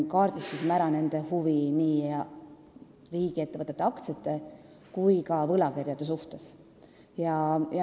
Kaardistasime nende huvi nii riigiettevõtete aktsiate kui ka võlakirjade vastu.